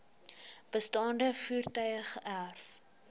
bestaande voertuie geërf